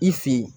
I fin